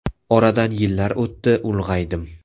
Oradan yillar o‘tdi, ulg‘aydim.